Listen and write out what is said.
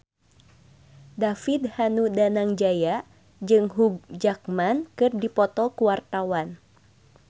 David Danu Danangjaya jeung Hugh Jackman keur dipoto ku wartawan